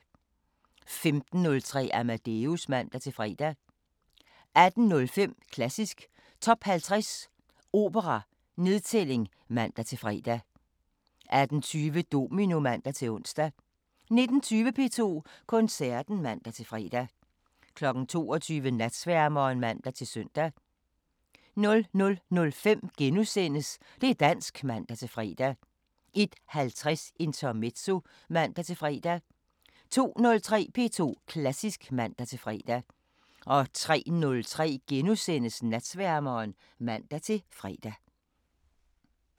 15:03: Amadeus (man-fre) 18:05: Klassisk Top 50 Opera: Nedtælling (man-fre) 18:20: Domino (man-ons) 19:20: P2 Koncerten (man-fre) 22:00: Natsværmeren (man-søn) 00:05: Det' dansk *(man-fre) 01:50: Intermezzo (man-fre) 02:03: P2 Klassisk (man-fre) 03:03: Natsværmeren *(man-fre)